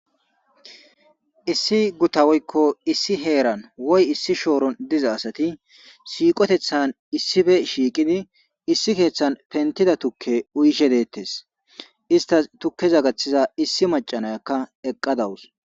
Issi gutan woyko issi heeranwoy issi shooron diza asati siiqoteththanissippe shiiqidi issi sohon penttida tukke uyishe dizayssa besees.